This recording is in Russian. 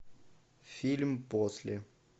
фильм после